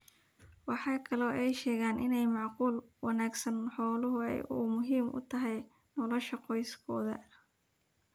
Waxa kale oo ay sheegeen in maamul wanaaga xooluhu ay muhiim u tahay nolosha qoyskooda.